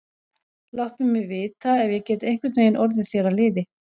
Láttu mig vita, ef ég get einhvern veginn orðið þér að liði.